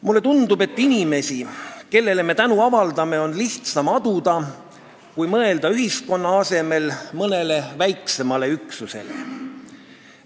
Mulle tundub, et inimesi, kellele me tänu avaldame, on lihtsam aduda, kui mõelda ühiskonna asemel mõnele väiksemale üksusele.